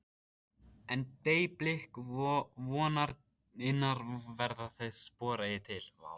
En- deyi blik vonarinnar verða þau spor eigi til.